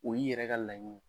O y'i yɛrɛ ka laɲ